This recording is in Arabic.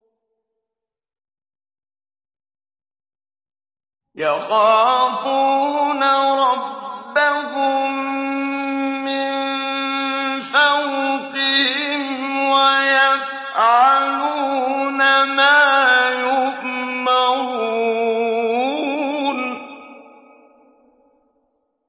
يَخَافُونَ رَبَّهُم مِّن فَوْقِهِمْ وَيَفْعَلُونَ مَا يُؤْمَرُونَ ۩